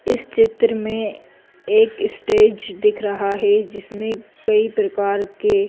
इस चित्र में एक स्टेज दिख रहा है जिसमें कई प्रकार के--